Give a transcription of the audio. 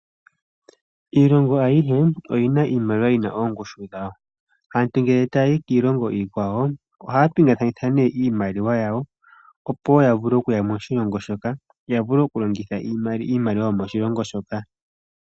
Iilongo ayihe oyina iimaliwa yina oongushu dhawo aantu ngele taayi kiilongo iikwawo ohaa pingakanitha nee iimaliwa yawo opo wo ya vule okuya moshilongo moka ya vule okulongitha iimaliwa yomoshilongo moka.